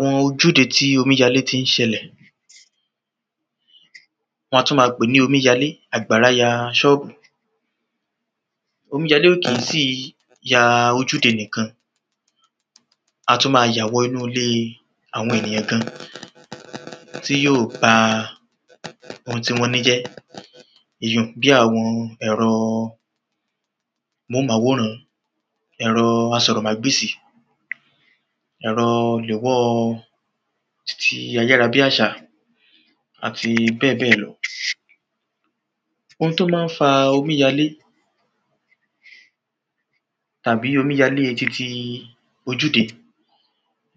Wọ́n a tún máa pé ní omíyalé àgbàrá ya ṣọ́ọ́bù Omíyalé ò kí ń sì ń ya ojúde nìkan A tún ma ya wọ inú ilé àwọn ènìyàn gan tí yóò ba oun tí wọ́n ní jẹ́ Ìyíùn bí àwọn ẹ̀rọ amóhùnmáwòrán ẹ̀rọ asọ̀rọ̀mágbèsì ẹ̀rọ lewọ́ titi ayárabíàṣá àti bẹ́ẹ̀bẹ́ẹ̀ lọ Oun tí ó máa ń fa omíyalé tàbí omíyalé titi ojúde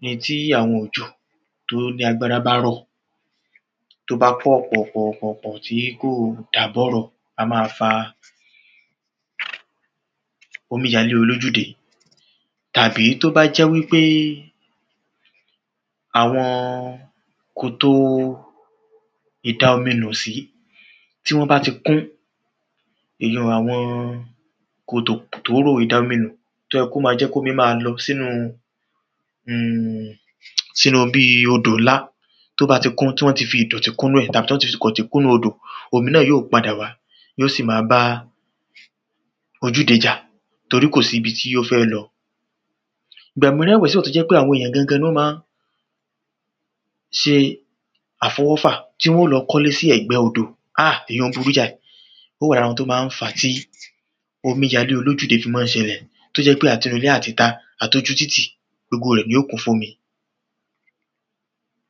ni tí àwọn òjò tí ó ní agbára bá rọ tí ó bá pọ̀ pọ̀ pọ̀ pọ̀ tí kò dá bọ̀rọ̀ a máa fa omíyalé olójúde Tàbí tí ó bá jẹ́ wípé àwọn kòtò ìdaominùsí tí wọ́n bá ti kún Èyìùn àwọn kòtò tóóró ìdaominú tí ó yẹ kí ó ma jẹ́ kí omi máa lọ sínú um sínú bíi odò ńlá Tí ó bá ti kún tí wọ́n ti fi ìdọ̀tí kún inú ẹ̀ tàbí tí wọ́n ti fi ìdọ̀tí kún inú odò omi náà yóò padà wá yóò sì máa ba ojúde jà torí kò sí ibi tí ó fẹ́ lọ Ìgbà mìíràn o tú jẹ́ pé àwọn èyàn gan gan ni ó máa ń ṣe àfọwọ́fà tí wọ́n óò lọ kọ́lé sí ẹ̀gbẹ́ odò Ah ìyìùn burú jáì Ó wa ní ara àwọn tí ó máa ń fà á tí omíyalé olójúde fi máa ń ṣẹlẹ̀ tí ó jẹ́ pé àti inú ilé àti ìta àtí ojú títì gbogbo rẹ̀ ni óò kún fún omi